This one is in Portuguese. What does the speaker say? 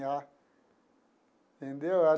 entendeu?